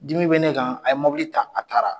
Dimi bɛ ne kan a ye mobili ta a taara!